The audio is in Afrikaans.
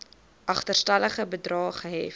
agterstallige bedrae gehef